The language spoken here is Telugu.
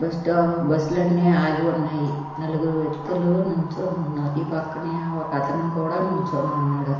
బస్ స్టాప్ బస్సులన్ని ఆగి ఉన్నాయి. నలుగురు వ్యక్తులు నించోనున్నారు. ఈ పక్కనే ఒకతను కూడా నించోనున్నాడు.